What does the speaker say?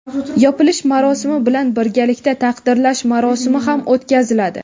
Yopilish marosimi bilan birgalikda "Taqdirlash marosimi" ham o‘tkaziladi.